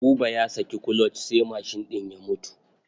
Buba ya saki kuloc sai mashin ɗin ya mutu.